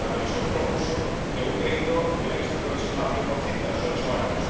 La Comisión propuso que un crédito tuviera que ser provisional al cien por cien tras ocho años.